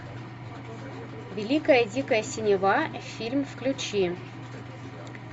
великая дикая синева фильм включи